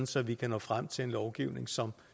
så vi kan nå frem til en lovgivning som